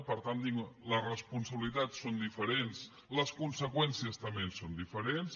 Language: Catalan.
per tant les responsabilitats són diferents les conseqüències també són diferents